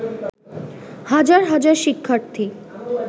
হাজার হাজার শিক্ষার্থী